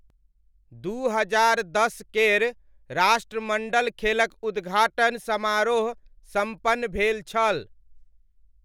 दू हजार दस केर राष्ट्रमण्डल खेलक उद्घाटन समारोह सम्पन्न भेल छल।